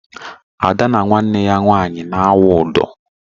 Ada na nwanne ya nwaanyị na awụ ụdọh.